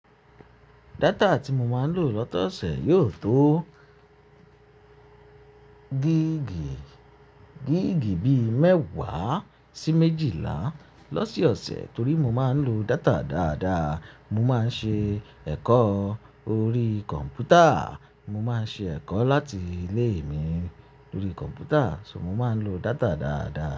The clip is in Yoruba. Data tí mo máa ń lò lọ́tọ̀sẹ̀ yóò tó gíìgì, gíìgì bíi mẹ́wàá sí méjìlá lọ́sọ̀ọ̀sẹ̀ torí mo máa ń lo data dáadáa. Mo máa ń ṣe ẹ̀kọ́ orí kọ̀ǹpútà. Mo máa ń ṣe ẹ̀kọ́ láti ilé mi lórí kọ̀mpútà. So mo máa ń lo data dáadáa.